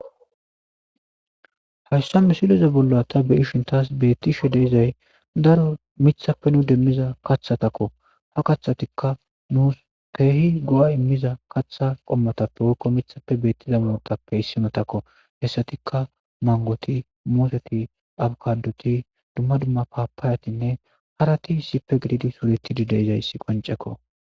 hayssa misileze bolla ta be7ishin taas beettishe de7izay daro mithappe nu demmiza kaththatakko ha kathatikka nuus keehi go7a immiza kaththa qommotappe woykko mithappe beettiza mootappe issimotakko hessatikka mangoti mooseti abkadoti dumma dumma paapaayatinne harati issippe gididi suretidi de7izayssi qoncekko.